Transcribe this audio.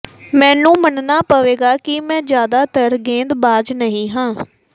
ਮੈਨੂੰ ਮੰਨਣਾ ਪਵੇਗਾ ਕਿ ਮੈਂ ਜ਼ਿਆਦਾਤਰ ਗੇਂਦਬਾਜ਼ ਨਹੀਂ ਹਾਂ